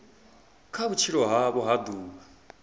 kha vhutshilo havho ha ḓuvha